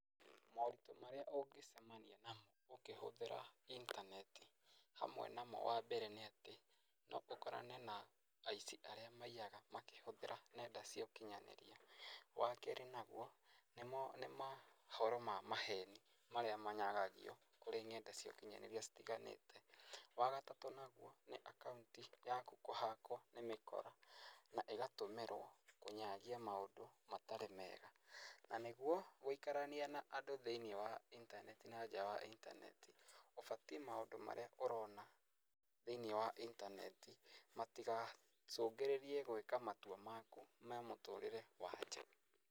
Moritũ marĩa ũngĩcemania namo ũkĩhũthĩra intaneti hamwe namo wambere nĩatĩ noũkorane na aici arĩa maiyaga makĩhũthĩra nenda cia ũkinyanĩria. Wakerĩ naguo nĩ mahoro ma maheni marĩa manyagagio kũrĩ ng'enda cia ũkinyanĩria citiganĩte, wagatatũ naguo nĩ akauti yaku kũhakwo nĩ mĩkora na ĩgatũmĩrwo kũnyagia maũndũ matarĩ meega, na nĩguo gũikarania na andũ thĩini wa intaneti na nja wa intaneti, ũbatiĩ maũndũ marĩa ũrona thĩinĩ wa intaneti ,matigacũngĩrĩrie gwĩka matua maku ma mũtũrĩre wa nja.